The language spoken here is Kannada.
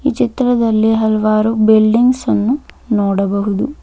ಈ ಚಿತ್ರದಲ್ಲಿ ಹಲವಾರು ಬಿಲ್ಡಿಂಗ್ಸ್ ಅನ್ನು ನೋಡಬಹುದು.